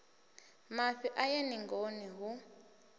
mafhi a ye ningoni hu